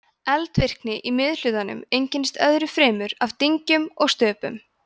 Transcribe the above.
eldvirkni í miðhlutanum einkennist öðru fremur af dyngjum og stöpum